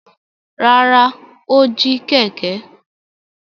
Rárá, ó jí kẹ̀kẹ́.